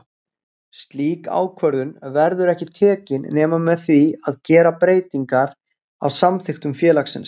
Slík ákvörðun verður ekki tekin nema með því að gera breytingar á samþykktum félags.